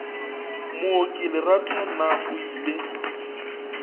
mooki lerato na o ile